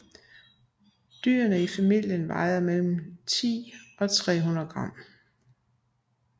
Dyrene i familien vejer mellem 10 og 300 g